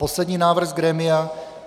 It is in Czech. Poslední návrh z grémia.